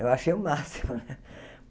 Eu achei o máximo.